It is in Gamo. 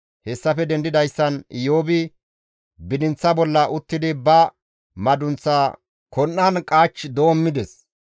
Hessafe dendidayssan Iyoobi bidinththa bolla uttidi ba madunththa kon7an qaach doommides.